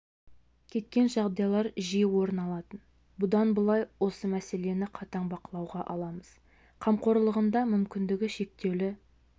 кеткен жағдайлар жиі орын алатын бұдан былай осы мәселені қатаң бақылауға аламыз қамқорлығында мүмкіндігі шектеулі